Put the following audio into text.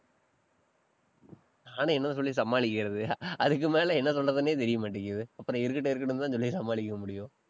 நானும் என்ன சொல்லி சமாளிக்கிறது? அதுக்கு மேல என்ன சொல்றதுன்னே தெரியமாட்டேங்குது. அப்புறம் இருக்கட்டும், இருக்கட்டும்ன்னுதான் சொல்லி சமாளிக்க முடியும்.